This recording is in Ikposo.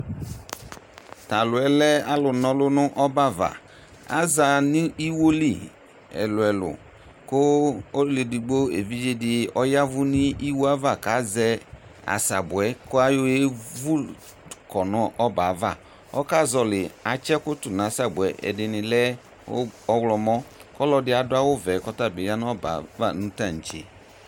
t'alòɛ lɛ alò n'ɔlu no ɔbɛ ava aza no iwo li ɛlò ɛlò kò ɔlò edigbo evidze di ɔya vu n'iwo ava k'azɛ asabu yɛ kò ayɔ ye vu kɔ no ɔbɛ ava ɔka zɔli atsi ɛkò to n'asabue ɛdini lɛ ɔwlɔmɔ k'ɔlò ɛdi adu awu vɛ k'ɔtabi ya n'ɔbɛ ava no tantse.